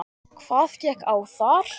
Hvað gekk á þar?